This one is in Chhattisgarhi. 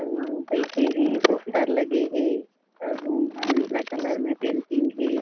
अउ बईठे हे पोस्टर लगे हे अउ उहा नीला कलर में पेंटिंग हे।